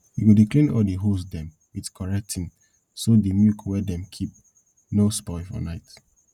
u go dey clean all de hose dem with correct tin so dey milk wey dem keep nor spoil for night